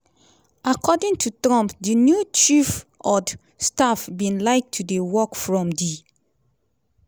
according to trump di new chief od staff bin like to dey work from di